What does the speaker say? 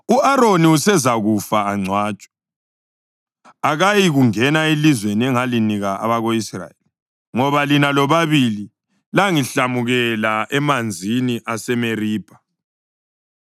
“U-Aroni usezakufa angcwatshwe. Akayikungena elizweni engilinika abako-Israyeli, ngoba lina lobabili langihlamukela emanzini aseMeribha.